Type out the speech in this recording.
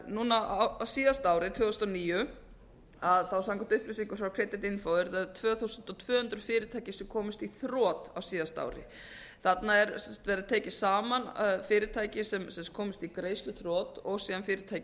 núna á síðasta ári tvö þúsund og níu samkvæmt upplýsingum frá creditinfo eru það tvö þúsund tvö hundruð fyrirtæki sem komust í þrot á síðasta ári þarna hafa verið tekin saman fyrirtæki sem komust í greiðsluþrot og síðan fyrirtæki